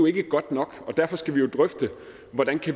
ikke godt nok og derfor skal vi jo drøfte hvordan